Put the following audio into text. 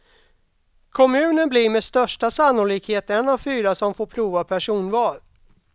Kommunen blir med största sannolikhet en av fyra som får prova personval.